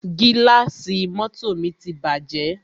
Gílàsì mọ́tọ̀ mi ti bàjẹ́.